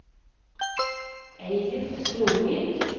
Eilif Storvik